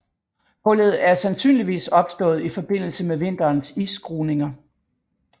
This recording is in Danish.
Hullet er sandsynligvis opstået i forbindelse med vinterens isskruninger